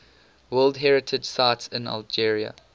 world heritage sites in algeria